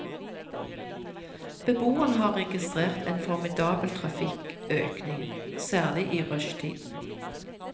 Beboerne har registrert en formidabel trafikkøkning, særlig i rushtiden.